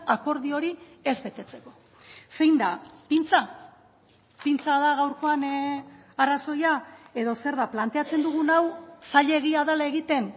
akordio hori ez betetzeko zein da pintza pintza da gaurkoan arrazoia edo zer da planteatzen dugun hau zailegia dela egiten